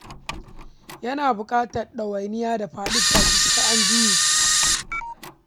Yana buƙatar ɗawainiya da faɗi tashi, sai fa an jure.